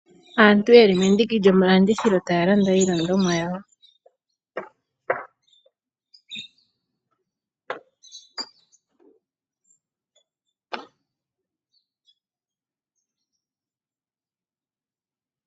Aantu yeli mendiki lyomalandithilo taya landa iilandithomwa yawo